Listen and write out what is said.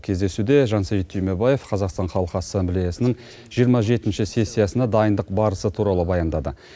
кездесуде жансейіт түймебаев қазақстан халқы ассамблеясының жиырма жетінші сессиясына дайындық барысы туралы баяндады